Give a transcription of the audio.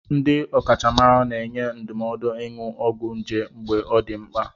Ndị ọkachamara na-enye ndụmọdụ ịnụ ọgwụ nje mgbe ọ dị mkpa.